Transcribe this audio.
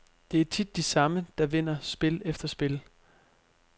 Det er tit de samme, der vinder spil efter spil.